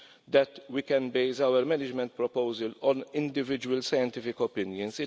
that we can base our management proposal on individual scientific opinions.